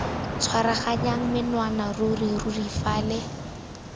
tshwaraganya menwana ruri ruri fale